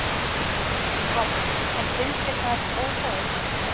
Páll: En finnst þér það óþægilegt?